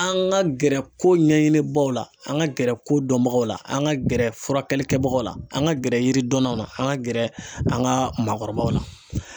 An ka gɛrɛ ko ɲɛɲini baw la an ka gɛrɛ ko dɔnbagaw la an ka gɛrɛ furakɛli kɛbagaw la an ka gɛrɛ yiri dɔnnaw na an ka gɛrɛ an ka maakɔrɔbaw la.